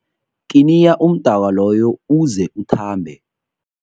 Kiniya umdaka loyo uze uthambe.